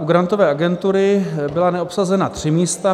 U Grantové agentury byla neobsazena tři místa.